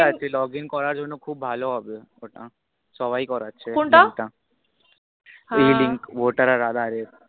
Log in করার জন্য খুব ভালো হবে ওটা সবাই করছে কোনটা, এ link voter আর aadhaar এর